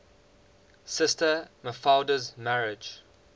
sister mafalda's marriage